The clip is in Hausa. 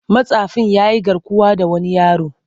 Matsafin ya yi garkuwa da wani yaro.